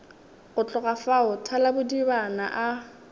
go tloga fao thalabodiba a